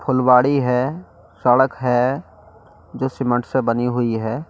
खुलवाड़ी है सड़क है जो सीमेंट से बनी हुई है।